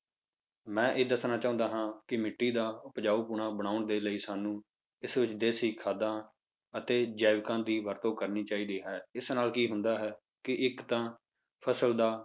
ਮੈਂ ਇਹ ਦੱਸਣਾ ਚਾਹੁੰਦਾ ਹਾਂ ਕਿ ਮਿੱਟੀ ਦਾ ਉਪਜਾਊਪੁਣਾ ਬਣਾਉਣ ਦੇ ਲਈ ਸਾਨੂੰ ਇਸ ਵਿੱਚ ਦੇਸੀ ਖਾਦਾਂ ਅਤੇ ਜੈਵਿਕਾਂ ਦੀ ਵਰਤੋਂ ਕਰਨੀ ਚਾਹੀਦੀ ਹੈ, ਇਸ ਨਾਲ ਕੀ ਹੁੰਦਾ ਹੈ ਕਿ ਇੱਕ ਤਾਂ ਫਸਲ ਦਾ